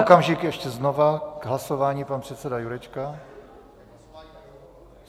Okamžik, ještě znova k hlasování pan předseda Jurečka.